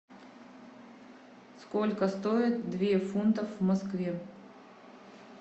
сколько стоит две фунтов в москве